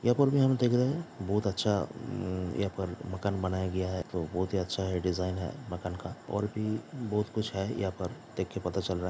यहाँ पर ऊपर हम देख रहे बहुत अच्छा यहां पे मकान बनाया गया है जो बहुत ही अच्छा है डिजाइन है मकान का और भी बहुत कुछ है यहाँ पर देख के पता चल रहा है।